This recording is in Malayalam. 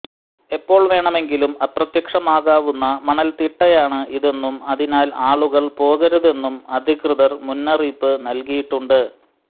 എപ്പോൾ വേണമെങ്കിലും അപ്രത്യക്ഷമാകാവുന്ന മണൽത്തിട്ടയാണ് ഇതെന്നും അതിനാൽ ആളുകൾ പോകരുതെന്നും അധികൃതർ മുന്നറിയിപ്പ് നൽകിയിട്ടുണ്ട്